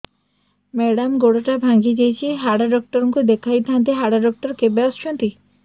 madam ଗୋଡ ଟା ଭାଙ୍ଗି ଯାଇଛି ହାଡ ଡକ୍ଟର ଙ୍କୁ ଦେଖାଇ ଥାଆନ୍ତି ହାଡ ଡକ୍ଟର କେବେ ଆସୁଛନ୍ତି